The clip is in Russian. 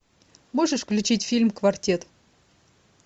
можешь включить фильм квартет